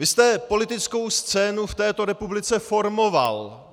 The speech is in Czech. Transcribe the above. Vy jste politickou scénu v této republice formoval.